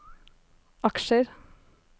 aksjer